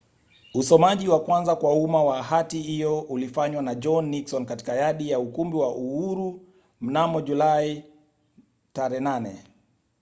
usomaji wa kwanza kwa umma wa hati hiyo ulifanywa na john nixon katika yadi ya ukumbi wa uhuru mnamo julai 8